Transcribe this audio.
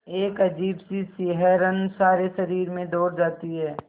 एक अजीब सी सिहरन सारे शरीर में दौड़ जाती है